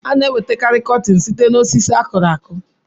A na-enweta karị kọtin site osisi akụrụ akụ.